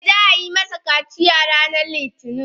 Eh, za a yi masa kaciya ranar Litinin.